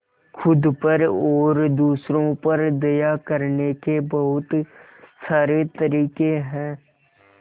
खुद पर और दूसरों पर दया करने के बहुत सारे तरीके हैं